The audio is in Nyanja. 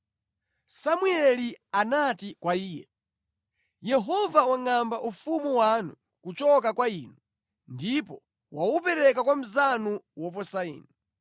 Samueli anati kwa iye, “Yehova wangʼamba ufumu wanu kuchoka kwa inu, ndipo waupereka kwa mnzanu woposa inu.